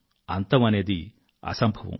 అంతం అనేది అసంభవం